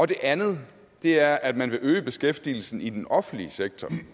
det andet er at man vil øge beskæftigelsen i den offentlige sektor